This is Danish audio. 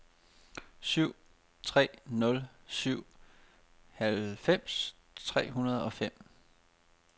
syv tre nul syv halvfems tre hundrede og fem